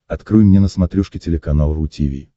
открой мне на смотрешке телеканал ру ти ви